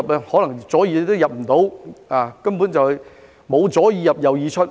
可能左耳也進不了，根本沒有"左耳入，右耳出"。